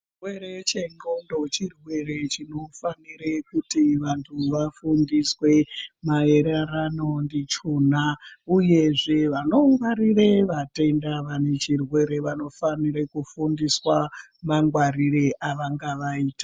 Chirwere chendxondo chirwere chinofanire kuti vantu vafundiswe, maererano ndichona, uyezve vanongwarire vatenda vane chirwere vanofanire kufundiswa, mangwarire avangavaita.